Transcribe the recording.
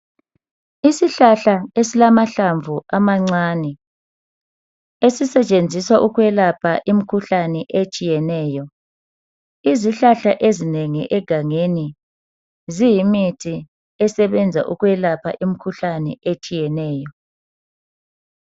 Isihlahla esilamahlamvu amancane esisetshenziswa ukwelapha imikhuhlane etshiyeneyo, izihlahla ezinengi egangeni ziyimithi esebenza ukwelapha imikhuhlane etshiyeneyo.